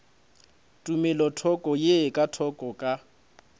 tumelothoko ye ka thoko ka